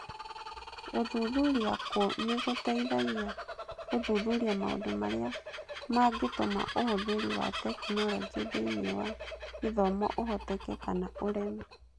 Gũthuthuria kũu nĩ gũteithagia gũthuthuria maũndũ marĩa mangĩtũma ũhũthĩri wa tekinolonjĩ thĩinĩ wa gĩthomo ũhoteke kana ũreme.